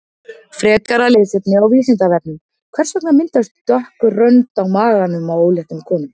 Frekara lesefni á Vísindavefnum: Hvers vegna myndast dökk rönd á maganum á óléttum konum?